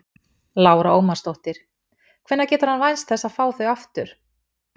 Lára Ómarsdóttir: Hvenær getur hann vænst þess að fá þau aftur?